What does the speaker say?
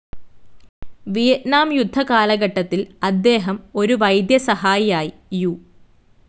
Vietnam യുദ്ധ കാലഘട്ടത്തിൽ അദ്ദേഹം ഒരു വൈദ്യസഹായിയായി യു.